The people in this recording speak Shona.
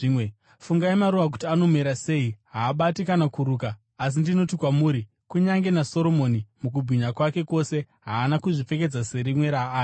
“Fungai maruva kuti anomera sei. Haabati kana kuruka, asi ndinoti kwamuri, kunyange naSoromoni mukubwinya kwake kwose haana kuzvipfekedza serimwe raaya.